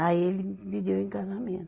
Aí ele me pediu em casamento.